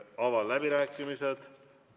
Avan läbirääkimised.